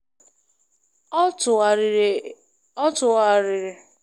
Ọ tụgharịrị gaa na edemede ihe dị ka ụzọ isi hazie iru uju ma wulite ike mmetụta uche.